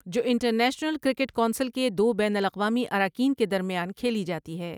جو International Cricket Council کے دو بین الاقوامی اراکین کے درمیان کھیلی جاتی ہے۔